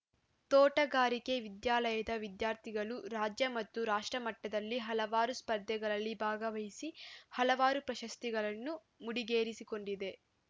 ತೋಟಗಾರಿಕೆ ವಿದ್ಯಾಲಯದ ವಿದ್ಯಾರ್ಥಿಗಳು ರಾಜ್ಯ ಮತ್ತು ರಾಷ್ಟ್ರಮಟ್ಟದಲ್ಲಿ ಹಲವಾರು ಸ್ಪರ್ದೆಗಳಲ್ಲಿ ಭಾಗವಹಿಸಿ ಹಲವಾರು ಪ್ರಶಸ್ತಿಗಳನ್ನು ಮುಡಿಗೇರಿಸಿಕೊಂಡಿದೆ